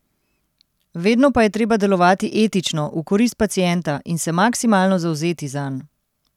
Vedno pa je treba delovati etično, v korist pacienta, in se maksimalno zavzeti zanj.